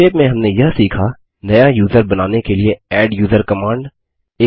संक्षेप में हमने यह सीखा160 नया यूज़र बनाने के लिए एड्यूजर कमांड